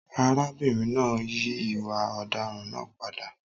Arábìnrin náà yí ìwà ọ̀daràn náà padà.